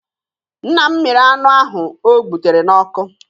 Nna m mịrị anụ ahụ o gbutere n'ọkụ